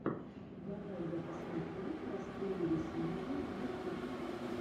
давай я посмотрю простые рисунки ютюб